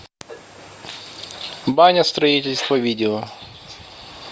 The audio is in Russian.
баня строительство видео